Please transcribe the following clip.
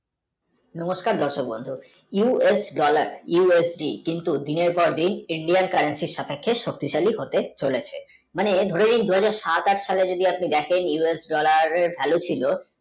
নমস্কার দর্শক বন্ধুরা you l বালাক USD কিন্তু দিনের পর দিন India সাপেক্ষে শক্তিশালী হতে চলেছে মানে ধরে নিন দুহাজার সাত আট sal এযদি আপনি দেখেন US dollar value ছিল